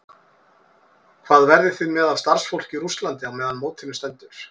Hvað verðið þið með af starfsfólki í Rússlandi meðan á mótinu stendur?